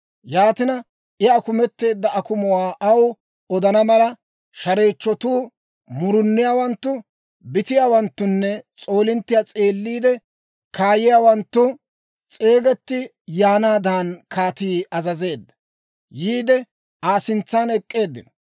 Yaatina, I akumetteedda akumuwaa aw odana mala, shareechchotuu, muruniyaawanttu, bitiyaawanttunne s'oolinttiyaa s'eeliide kaayiyaawanttu s'eegetti yaanaadan kaatii azazeedda. Yiide, Aa sintsan ek'k'eeddino.